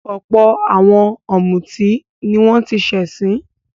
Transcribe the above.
Ọ̀pọ̀ àwọn ọ̀mútí ni wọ́n ti ṣẹ̀sín.